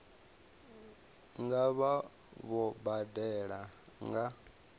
nga vha vho badela nga